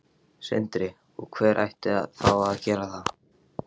Sindri: Og hver ætti þá að gera það?